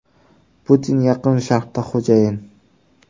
Putin Yaqin Sharqda xo‘jayin.